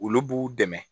Olu b'u dɛmɛ